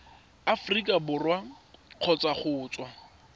aforika borwa kgotsa go tswa